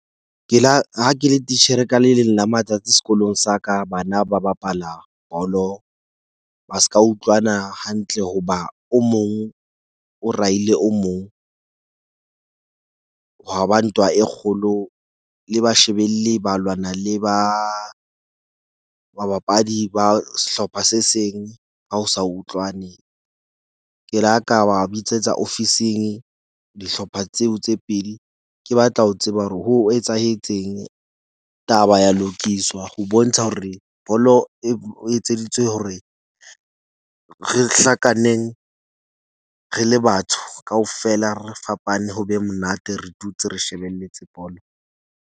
Ke la ha ke le titjhere ka le leng la matsatsi sekolong sa ka, bana ba bapala bolo ba ska utlwana hantle. Hoba o mong o raile o mong, hwa ba ntwa e kgolo, le ba shebelli ba lwana le ba babapadi ba sehlopha se seng. Ha o sa utlwane. Ke la ka ba bitsetsa ofising dihlopha tseo tse pedi. Ke batla ho tseba hore ho etsahetseng taba ya lokiswa. Ho bontsha hore bolo o etseditswe hore re hlakaneng re le batho kaofela. Re fapane ho be monate, re dutse re shebelletse bolo.